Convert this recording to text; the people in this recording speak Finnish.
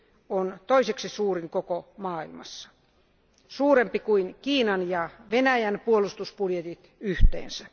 on toiseksi suurin koko maailmassa, suurempi kuin Kiinan ja Venäjän puolustusbudjetit yhteensä.